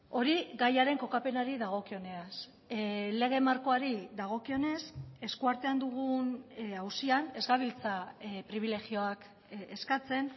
hori gaiaren kokapenari dagokionez lege markoari dagokionez eskuartean dugun auzian ez gabiltza pribilegioak eskatzen